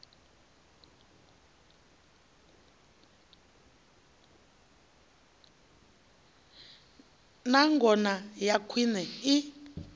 na ngona ya khwine i